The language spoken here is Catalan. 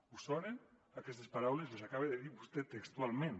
us sonen aquestes paraules les acaba de dir vostè textualment